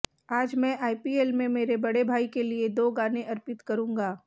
आज मैं आईपीएल में मेरे बड़े भाई के लिए दो गाने अर्पित करूंगा